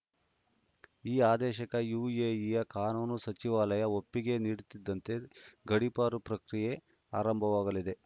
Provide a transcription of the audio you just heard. ಈ ಆದೇಶಕ್ಕೆ ಯುಎಇಯ ಕಾನೂನು ಸಚಿವಾಲಯ ಒಪ್ಪಿಗೆ ನೀಡುತ್ತಿದ್ದಂತೆ ಗಡೀಪಾರು ಪ್ರಕ್ರಿಯೆ ಆರಂಭವಾಗಲಿದೆ